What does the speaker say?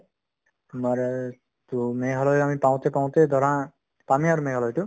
to Meghalaya আমি পাওঁতে পাওঁতে ধৰা পামে আৰু মেঘালয়তো